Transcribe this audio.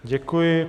Děkuji.